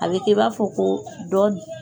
A be kɛ i b'a fɔ ko dɔni